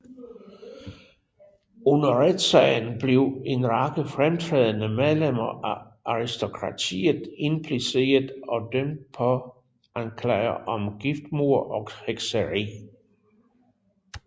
Under retssagen blev en række fremtrædende medlemmer af aristokratiet impliceret og dømt på anklager om giftmord og hekseri